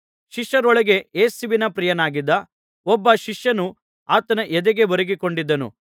ಶಿಷ್ಯರೊಳಗೆ ಯೇಸುವಿಗೆ ಪ್ರಿಯನಾಗಿದ್ದ ಒಬ್ಬ ಶಿಷ್ಯನು ಆತನ ಎದೆಗೆ ಒರಗಿಕೊಂಡಿದ್ದನು